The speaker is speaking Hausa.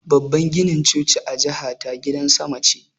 Babban ginin choci a jihata gidan sama ce